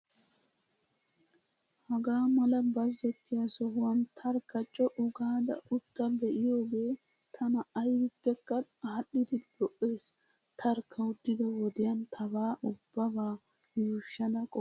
Hagaa mala bazzottiyaa sohuwaan tarkka co'u gaada utta be'iyoogee tana ayibippekka aadhdhidi lo''es. Tarkka uttido wodiyan tabaa ubbaabaa yuushshada qoppayisi.